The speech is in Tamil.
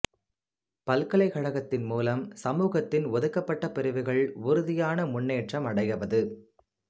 பல்கலைக்கழகத்தின் மூலம் சமூகத்தின் ஒதுக்கப்பட்டப் பிரிவுகள் உறுதியான முன்னேற்றம் அடையவது